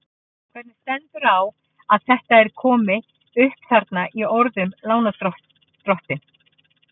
Hvernig stendur þá á að þetta er komi upp þarna í orðinu lánardrottinn?